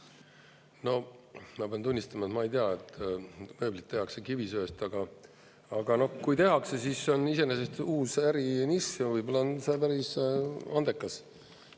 No ma pean tunnistama, et ma ei tea, et mööblit tehakse kivisöest, aga noh, kui tehakse, siis see on iseenesest uus ärinišš ja võib-olla on seal päris andekas.